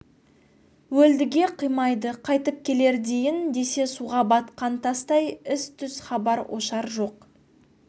өлдіге қимайды қайтып келер дейін десе суға батқан тастай із-түз хабар-ошар жоқ